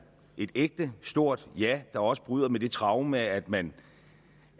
et ægte stort ja der også bryder med det traume at man